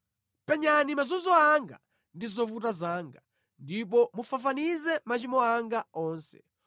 Penyani mazunzo anga ndi zovuta zanga ndipo mufafanize machimo anga onse.